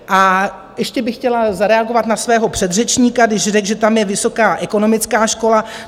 A ještě bych chtěla zareagovat na svého předřečníka, když řekl, že tam je vysoká ekonomická škola.